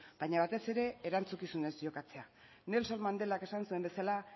baina batez ere erantzukizunez jokatzea nelson mandelak esan zuen bezala